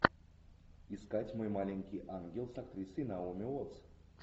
искать мой маленький ангел с актрисой наоми уоттс